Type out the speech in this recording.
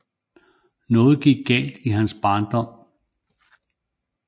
Noget gik galt i hans barndom